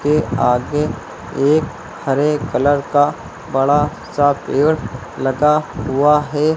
के आगे एक हरे कलर का बड़ा सा पेड़ लगा हुआ है।